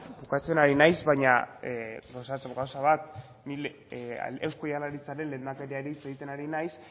bukatzen ari naiz baina gauzatxo bat eusko jaurlaritzaren lehendakariari hitz egiten ari naiz